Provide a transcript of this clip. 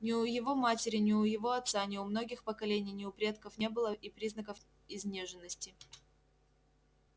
ни у его матери ни у его отца ни у многих поколений ни у предков не было и признаков изнеженности